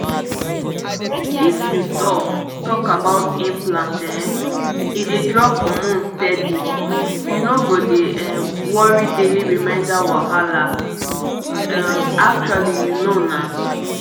if you talk talk about implant um e dey drop hormone steady — you no go dey um worry daily reminder wahala um actually you know na.